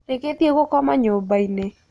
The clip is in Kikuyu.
Rĩgĩthiĩ gũkoma nyũmbainĩ.